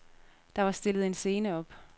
Der var stillet en scene op.